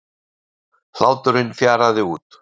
Hláturinn fjaraði út.